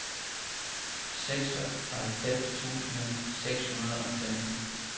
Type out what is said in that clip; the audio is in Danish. seksoghalvfems tusind seks hundrede og femten